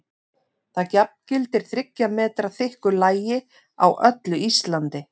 Það jafngildir þriggja metra þykku lagi á öllu Íslandi!